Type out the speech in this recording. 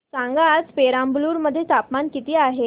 सांगा आज पेराम्बलुर मध्ये तापमान किती आहे